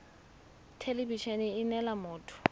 thelebi ene e neela motho